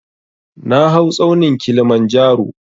Na hau tsaunin Kilimanjaro